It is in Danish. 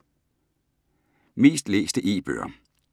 Mest læste E-bøger